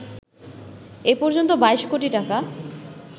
এ পর্যন্ত ২২ কোটি টাকা